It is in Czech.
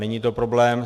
Není to problém.